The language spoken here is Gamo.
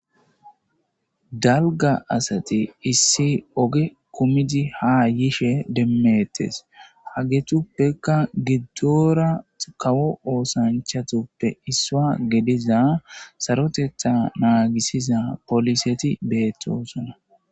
dalga asate issi oge kumidi ha yishe demmettes hagetuppeka giddora kawo oosanchatuppe isswa gediza sarotetha naagisiza poliseti beettosona